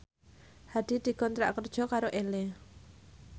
Hadi dikontrak kerja karo Elle